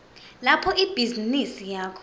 lapho ibhizinisi yakho